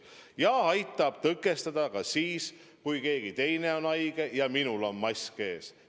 Ja see aitab tõkestada ka siis, kui keegi teine on haige ja minul on mask ees.